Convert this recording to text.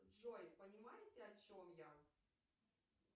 джой понимаете о чем я